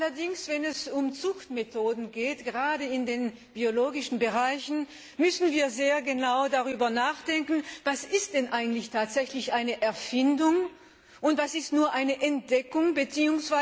Allerdings, wenn es um Zuchtmethoden geht, gerade in den biologischen Bereichen, müssen wir sehr genau darüber nachdenken, was denn eigentlich tatsächlich eine Erfindung ist und was nur eine Entdeckung bzw.